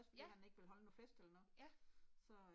Ja. Ja